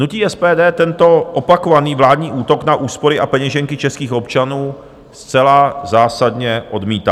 Hnutí SPD tento opakovaný vládní útok na úspory a peněženky českých občanů zcela zásadně odmítá.